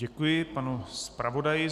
Děkuji panu zpravodaji.